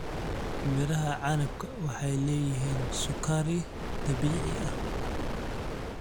Midhaha canabka waxay leeyihiin sukari dabiici ah.